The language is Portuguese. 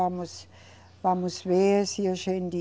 Vamos, vamos ver se a gente